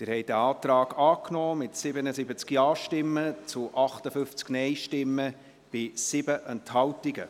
Sie haben den Antrag angenommen, mit 77 Ja- zu 58 Nein-Stimmen bei 7 Enthaltungen.